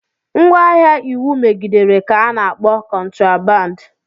Ngwaahịa iwu megidere ka ana akpọ kotraband.